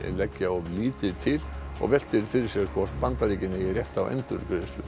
leggja of lítið til og veltir fyrir sér hvort Bandaríkin eigi rétt á endurgreiðslu